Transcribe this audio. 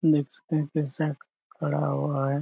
देख सकते है पेशक करा हुआ है।